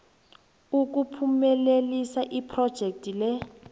ukuphumelelisa iphrojekhthi le